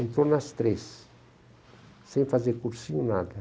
Entrou nas três, sem fazer cursinho, nada.